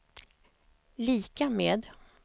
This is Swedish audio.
lika med